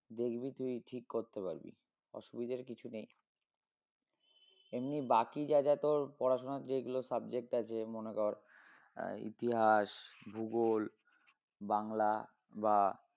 দেখবি তুই ঠিক করতে পারবি অসুবিধার কিছু নেই এমনি বাকি যা যা তোর পড়াশোনার যেগুলো subject আছে মনে কর আহ ইতিহাস ভূগোল বাংলা বা